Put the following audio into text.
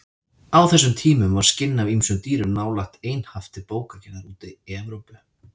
Á þessum tímum var skinn af ýmsum dýrum nálega einhaft til bókagerðar úti í Evrópu.